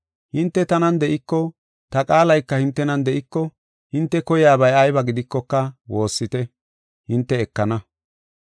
Hinte tanan de7iko, ta qaalayka hintenan de7iko, hinte koyiyabay ayba gidikoka woossite; hinte ekana.